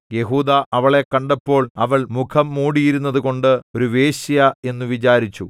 യെഹൂദാ അവളെ കണ്ടപ്പോൾ അവൾ മുഖം മൂടിയിരുന്നതുകൊണ്ട് ഒരു വേശ്യ എന്നു വിചാരിച്ചു